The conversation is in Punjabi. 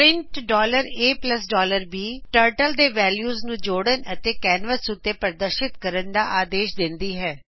ਪ੍ਰਿੰਟ ab ਟਰਟਲ ਦੋ ਵੈਲਿਯੁਸ ਨੂੰ ਜੋੜਨ ਅਤੇ ਕੈਨਵਸ ਉਤੇ ਪਰਦਰਸ਼ਿਤ ਕਰਨ ਦਾ ਆਦੇਸ਼ ਦਿੰਦੀ ਹੈ